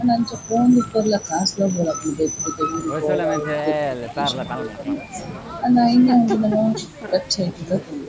ಆಂಡ ಅಂಚ ಪೋವೊಂದಿಪ್ಪೆರೆಲ ಕಾಸ್ ಲ ಬೋಡಾಪುಂಡು ಬೇತೆ ಬೇತೆ ಊರುಗು ಪೋಯೆರೆ ಆವಡ್ ಬೇತೆ ಬೇತೆ ದೇಶಗ್ ಪೋವೊಡು ಪಂಡ ಆಂಡ ಎಂಚಿನ ಆಪುಂಡು ಪಂಡ